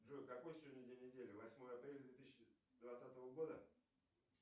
джой какой сегодня день недели восьмое апреля две тысячи двадцатого года